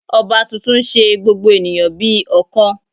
Ọba tuntun n se gbogbo ènìyàn bí ọ̀kan